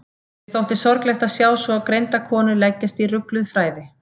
Mér þótti sorglegt að sjá svo greinda konu leggjast í rugluð fræði.